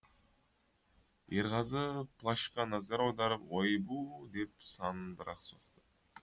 ерғазы плащқа назар аударып ойбу деп санын бір ақ соқты